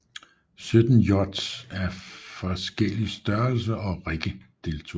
Sytten yachts i forskellige størrelser og rigge deltog